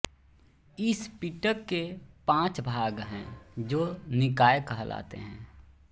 इस पिटक के पाँच भाग हैं जो निकाय कहलाते हैं